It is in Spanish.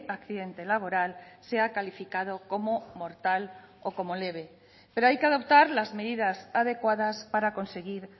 accidente laboral sea calificado como mortal o como leve pero hay que adoptar las medidas adecuadas para conseguir